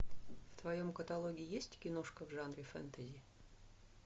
в твоем каталоге есть киношка в жанре фэнтези